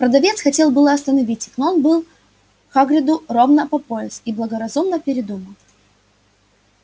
продавец хотел было остановить их но он был хагриду ровно по пояс и благоразумно передумал